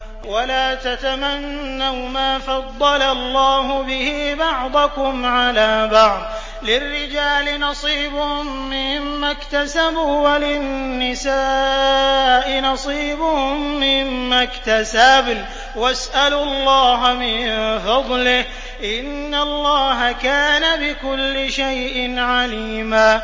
وَلَا تَتَمَنَّوْا مَا فَضَّلَ اللَّهُ بِهِ بَعْضَكُمْ عَلَىٰ بَعْضٍ ۚ لِّلرِّجَالِ نَصِيبٌ مِّمَّا اكْتَسَبُوا ۖ وَلِلنِّسَاءِ نَصِيبٌ مِّمَّا اكْتَسَبْنَ ۚ وَاسْأَلُوا اللَّهَ مِن فَضْلِهِ ۗ إِنَّ اللَّهَ كَانَ بِكُلِّ شَيْءٍ عَلِيمًا